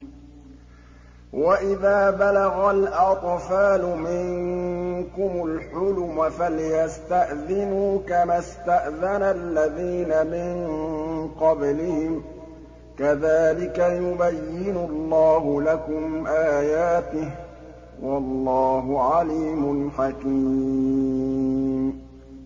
وَإِذَا بَلَغَ الْأَطْفَالُ مِنكُمُ الْحُلُمَ فَلْيَسْتَأْذِنُوا كَمَا اسْتَأْذَنَ الَّذِينَ مِن قَبْلِهِمْ ۚ كَذَٰلِكَ يُبَيِّنُ اللَّهُ لَكُمْ آيَاتِهِ ۗ وَاللَّهُ عَلِيمٌ حَكِيمٌ